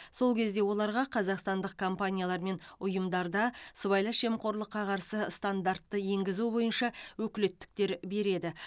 сол кезде оларға қазақстандық компаниялар мен ұйымдарда сыбайлас жемқорлыққа қарсы стандартты енгізу бойынша өкілеттіктер береді